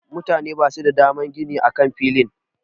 Mutane basu da daman gini a kan filin.